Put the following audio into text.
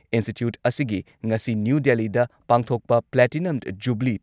institute ꯑꯁꯤꯒꯤ ꯉꯁꯤ new ꯗꯦꯜꯂꯤꯗ ꯄꯥꯡꯊꯣꯛꯄ ꯄ꯭ꯂꯥꯇꯤꯅꯝ ꯖꯨꯕꯤꯂꯤ